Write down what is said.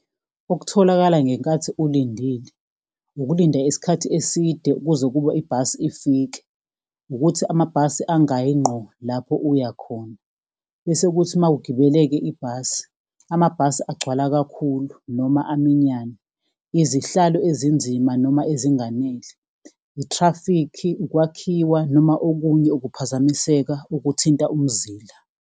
Okutholakala ngenkathi ulindile, ukulinda isikhathi eside ukuze ukuba ibhasi ifike, ukuthi amabhasi angayi ngqo lapho uya khona, bese kuthi uma ugibelele-ke ibhasi, amabhasi agcwala kakhulu noma aminyane. Izihlalo ezinzima noma ezinganele, i-traffic, ukwakhiwa noma okunye ukuphazamiseka okuthinta umzila.